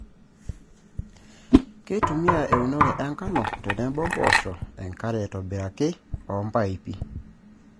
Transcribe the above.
Keitumiya eunore enkano tenebo mpoosho enkare aaitobiraki oompaipi.